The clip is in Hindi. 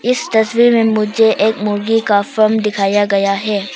इस तस्वीर में मुझे एक मुर्गी का फॉर्म दिखाया गया है।